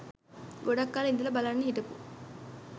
ගොඩක් කල් ඉදල බලන්න හිටපු